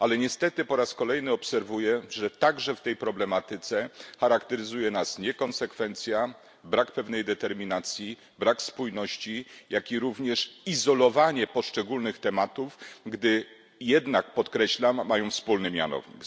Niestety po raz kolejny obserwuję, że także w tej problematyce charakteryzuje nas niekonsekwencja, brak determinacji, brak spójności oraz izolowanie poszczególnych tematów, które podkreślam mają wspólny mianownik.